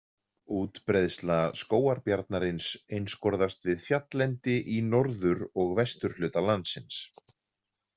Útbreiðsla skógarbjarnarins einskorðast við fjalllendi í norður og vesturhluta landsins.